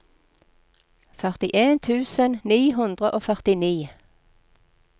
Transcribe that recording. førtien tusen ni hundre og førtini